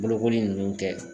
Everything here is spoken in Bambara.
Bolokoli nunnu kɛ